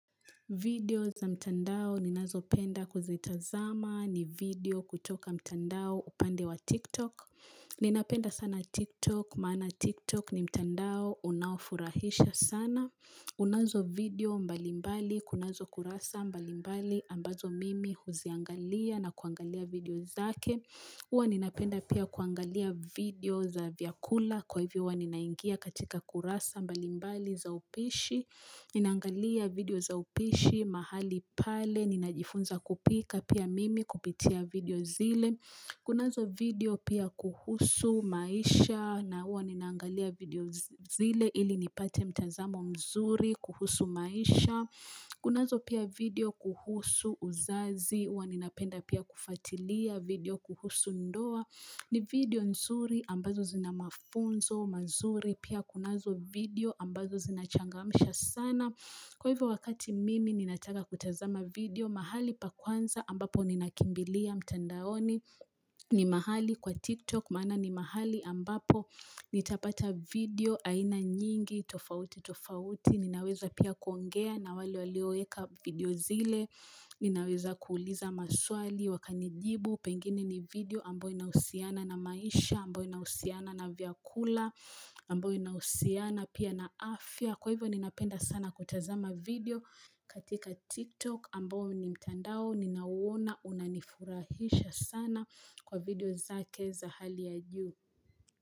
Video za mtandao ninazo penda kuzitazama ni video kutoka mtandao upande wa tiktok. Ninapenda sana tiktok maana tiktok ni mtandao unaofurahisha sana. Kunazo video mbalimbali, kunazo kurasa mbalimbali ambazo mimi huziangalia na kuangalia video zake. Huwa ninapenda pia kuangalia video za vyakula kwa hivyo huwa ninaingia katika kurasa mbalimbali za upishi. Ninaangalia video za upishi mahali pale, ninajifunza kupika pia mimi kupitia video zile Kunazo video pia kuhusu maisha, na huwa ninangalia video zile ili nipate mtazamo mzuri kuhusu maisha Kunazo pia video kuhusu uzazi, huwa ninapenda pia kufuatilia video kuhusu ndoa ni video nzuri ambazo zina mafunzo, mazuri pia kunazo video ambazo zinachangamisha sana Kwa hivyo wakati mimi ninataka kutazama video mahali pa kwanza ambapo ninakimbilia mtandaoni ni mahali kwa TikTok maana ni mahali ambapo nitapata video aina nyingi tofauti tofauti Ninaweza pia kuongea na wale walioweka video zile Ninaweza kuuliza maswali wakanijibu Pengini ni video ambayo inahusiana na maisha, ambayo inahusiana na vyakula, ambayo inahusiana pia na afya Kwa hivyo ninapenda sana kutazama video katika TikTok ambao ni mtandao Ninauona unanifurahisha sana kwa video zake za hali ya juu.